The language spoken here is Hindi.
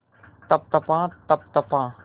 तप तपा तप तपा